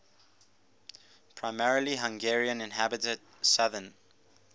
primarily hungarian inhabited southern